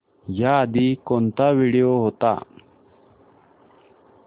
याआधी कोणता व्हिडिओ होता